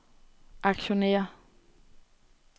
aktionærer